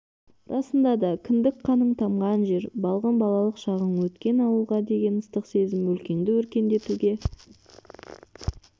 расында да кіндік қаның тамған жер балғын балалық шағың өткен ауылға деген ыстық сезім өлкеңді өркендетуге